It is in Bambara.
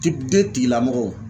tigilamɔgɔw